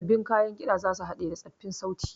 Sabbin kayan ƙiɗa za su haɗe da tsoffin sauti